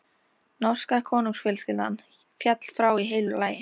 Norska konungsfjölskyldan féll frá í heilu lagi.